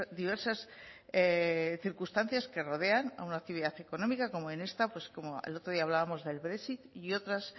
diversas circunstancias que rodean a una actividad económica como en esta pues como el otro día hablábamos del brexit y otras